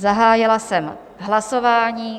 Zahájila jsem hlasování.